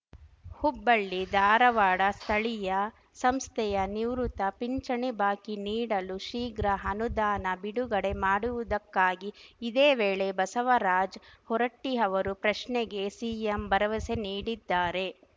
ಹುಬ್ಬಳ್ಳಿ ಧಾರವಾಡ ಸ್ಥಳೀಯ ಸಂಸ್ಥೆಯ ನಿವೃತ್ತ ಪಿಂಚಣಿ ಬಾಕಿ ನೀಡಲು ಶೀಘ್ರ ಅನುದಾನ ಬಿಡುಗಡೆ ಮಾಡುವುದಕ್ಕಾಗಿ ಇದೇ ವೇಳೆ ಬಸವರಾಜ್ ಹೊರಟ್ಟಿಅವರು ಪ್ರಶ್ನೆಗೆ ಸಿಎಂ ಭರವಸೆ ನೀಡಿದ್ದಾರೆ